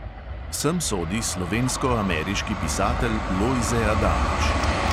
Sem sodi slovensko-ameriški pisatelj lojze adamič.